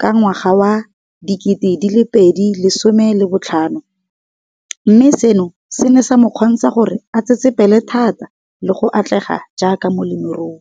ka ngwaga wa 2015, mme seno se ne sa mo kgontsha gore a tsetsepele thata le go atlega jaaka molemirui.